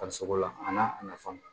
Farisogo la a n'a nafa